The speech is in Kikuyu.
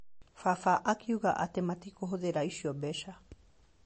Baba akiuga atĩ matikũhũthĩra icio mbeca.